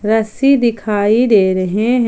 रस्सी दिखाई दे रहे हैं।